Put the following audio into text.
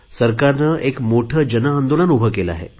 सरकारने एक मोठे जन आंदोलन उभे केले आहे